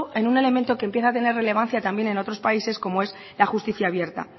en un elemento que empieza a tener relevancia también en otros países como es la justicia abierta